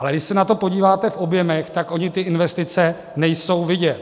Ale když se na to podíváme v objemech, tak ony ty investice nejsou vidět.